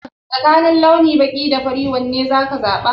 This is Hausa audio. Tsakanin launi baƙi da fari wane za ka zaɓa?